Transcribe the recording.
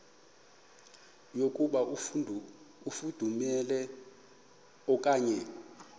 yokuba ifudumele okanye